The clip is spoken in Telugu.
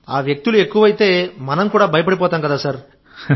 ఆ వ్యక్తులు ఎక్కువైతే మనం కూడా భయపడిపోతాం కదా సార్